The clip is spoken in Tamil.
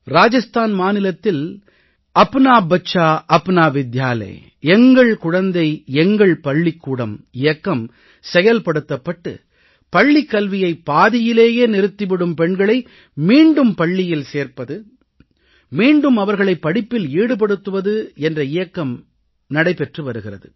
ராஜஸ்தான் மாநிலத்தில் எங்கள் குழந்தை எங்கள் பள்ளிக்கூடம் अपना बच्चा अपना विद्यालय இயக்கம் செயல்படுத்தப்பட்டு பள்ளிக் கல்வியை பாதியிலேயே நிறுத்தி விடும் பெண்களை மீண்டும் பள்ளியில் சேர்ப்பது மீண்டும் அவர்களைப் படிப்பில் ஈடுபடுத்துவது என்ற இயக்கம் நடைபெற்று வருகிறது